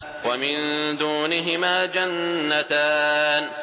وَمِن دُونِهِمَا جَنَّتَانِ